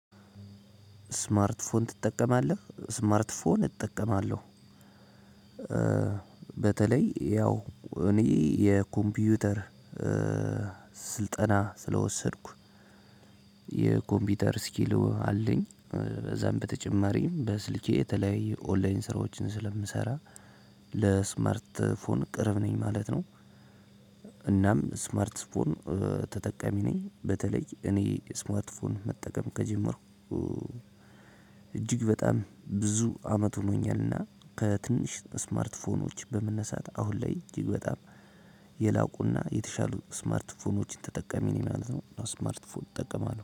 ስማርት ፎን ትጠቀማለህ? ስማርት ፎን እጠቀማለሁ። በተለይ ያው እኔ የኮምፒውተር ስልጠና ስለወሰድኩ የኮምፒውተር ስኪሉ አለኝ በዛም በተጨማሪም በስልኬ የተለያየ ኦንላይን ስራዎችን ስለምሰራ። ለስመርት ፎን ቅርብ ነኝ ማለት ነው። እናም ስማርት ፎን ተጠቃሚ ነኝ በተለይ እኔ ስማርት ፎን መጠቀም ከጀመርኩ። እጅግ በጣም ብዙ አመት ሆኖኛልና ከትንሽ ስማርት ፎኖች በመነሳት አሁን ላይ እጅግ በጣም የላቁና የተሻሉ ስማርትፎኖችን ተጠቀሚ እኔ ማለት ነው እና ስማርትፎን እጠቀማለሁ